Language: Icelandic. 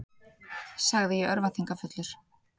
sagði ég örvæntingarfullur.